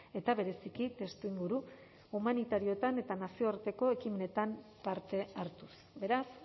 eta bereziki testuinguru humanitarioetan eta nazioarteko ekimenetan parte hartuz beraz